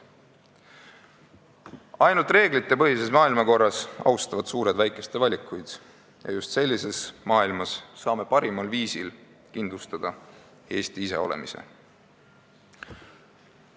" Ainult reeglitepõhise maailmakorra puhul austavad suured väikeste valikuid ja just sellises maailmas saame parimal viisil kindlustada Eesti iseolemise.